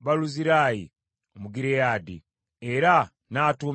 Baluzirayi Omugireyaadi, era n’atuumibwa erinnya eryo.